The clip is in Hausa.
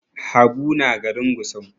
Habu na garin Gusau.